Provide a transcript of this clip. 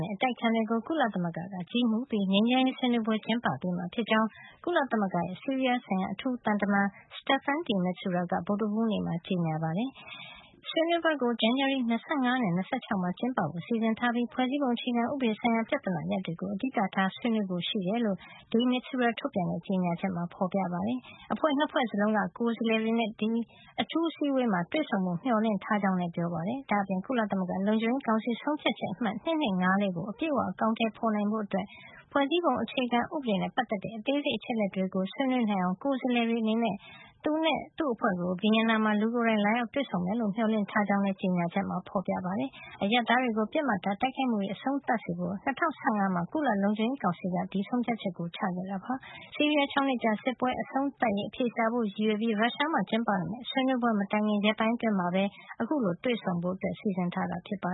နဲ့ အတိုက်အခံတွေကို ကုလသမဂ္ဂက ကြီးမှုးပြီး ငြိမ်းချမ်းရေးဆွေးနွေးပွဲ ကျင်းပပေးမှာ ဖြစ်ကြောင်း ကုလသမဂ္ဂရဲ့ ဆီးရီးယားအထူးသံတမန် Staffan de Mistura က ဗုဒ္ဓဟူးနေ့မှာ ကြေညာပါတယ်။ ဆွေးနွေးပွဲကို ဇန်နဝါရီလ ၂၅ နဲ့ ၂၆ မှာ ကျင်းပဖို့ စီစဉ်ထားပြီး ဖွဲ့စည်းပုံအခြေခံဥပဒေဆိုင်ရာ ပြဿနာရပ်တွေကို အဓိကထား ဆွေးနွေးဖို့ ရှိတယ်လို့ de Mistura ထုတ်ပြန်တဲ့ ကြေညာချက်မှာ ဖေါ်ပြထားပါတယ်။ အဖွဲ့ ၂ ဖွဲ့စလုံးက ကိုယ်စားလှယ်တွေနဲ့ ဒီအထူးအစည်းအဝေးမှာ တွေ့ဆုံဖို့ မျှော်လင့်ထားကြောင်းလည်း ပြောပါတယ်။ ဒါ့အပြင် ကုလသမဂ္ဂ လုံခြုံရေးကောင်စီ ဆုံးဖြတ်ချက် အမှတ် ၂၂၅၄ ကို အပြည့်အဝ အကောင်ထည်ဖေါ်နိုင်ဖို့ ဖွဲ့စည်းပုံအခြေခံ ဥပဒေနဲ့ ပတ်သက်တဲ့ အသေးစိတ်အချက်လက်တွေကို ဆွေးနွေးနိုင်အောင် ကိုယ်စားလှယ်တွေ အနေနဲ့ သူနဲ့ သူ့အဖွဲ့ကို Vienna မှာ လူကိုယ်တိုင် လာရောက် တွေ့ဆုံကြလိမ့်မယ်လို့ မျှော်လင့်ထားကြောင်းလည်း ကြေညာချက်မှာ ဖေါ်ပြထားပါတယ်။ အရပ်သားတွေကို ပစ်မှတ်ထား တိုက်ခိုက်မှုတွေ အဆုံးသတ်စေဖို့ ၂၀၁၅ မှာ ကုလလုံခြုံရေးကောင်စီက ဒီဆုံးဖြတ်ချက်ကို ချခဲ့တာ ဖြစ်ပါတယ်။ ဆီးရီးယားရဲ့ ၆ နှစ်ကြာ စစ်ပွဲအဆုံးသတ်ရေး အဖြေရှာဖို့ ရည်ရွယ်ပြီး ရုရှားမှာ ကျင်းပမယ့် ဆွေးနွေးပွဲမတိုင်ခင် ရက်ပိုင်းအတွင်းမှာပဲ အခုလို တွေ့ဆုံဖို့ စီစဉ်ထားတာပါ